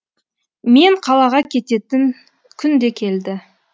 мен қалаға кететін күн де келді